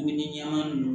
Min ɲɛma nunnu